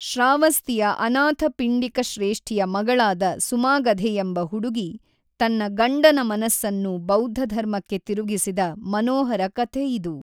ಶ್ರಾವಸ್ತಿಯ ಅನಾಥಪಿಂಡಿಕಶ್ರೇಷ್ಠಿಯ ಮಗಳಾದ ಸುಮಾಗಧೆಯೆಂಬ ಹುಡುಗಿ ತನ್ನ ಗಂಡನ ಮನಸ್ಸನ್ನು ಬೌದ್ಧಧರ್ಮಕ್ಕೆ ತಿರುಗಿಸಿದ ಮನೋಹರ ಕಥೆಯಿದು.